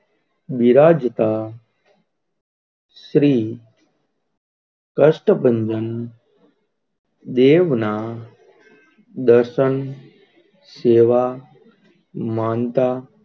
વિરાજત શ્રી કષ્ટભંજન દેવ ના દર્શન જેવા માનતા,